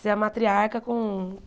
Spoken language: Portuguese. Ser a matriarca com